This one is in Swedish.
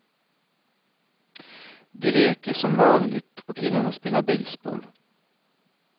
De leker som vanligt, och killarna spelar baseball.